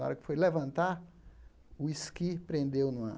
Na hora que foi levantar, o esqui prendeu no ar.